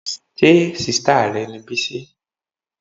Ṣé sìstá rẹ ni Bisi?